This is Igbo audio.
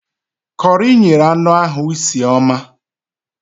Kọri nyere anụ ahụ isi ọma